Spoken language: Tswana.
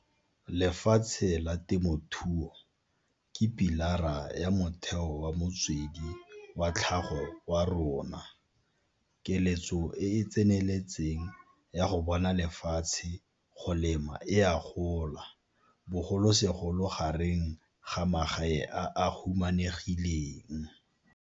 Lefatshe la temothuo ke pi lara ya motheo wa motswedi wa tlhago wa rona. Keletso e e tseneletseng ya go bona lefatshe go lema e a gola, bogolosegolo gareng ga magae a a humanegileng.